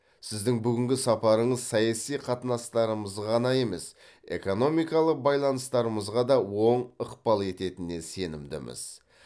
сіздің бүгінгі сапарыңыз саяси қатынастарымызға ғана емес экономикалық байланыстарымызға да оң ықпал ететініне сенімдіміз